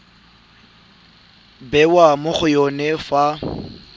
bewa mo go yone fa